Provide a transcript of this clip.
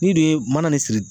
N'i dun ye mana ne siri